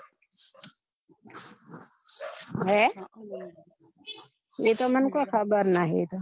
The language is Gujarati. હે એ તો મને કોય ખબર નહિ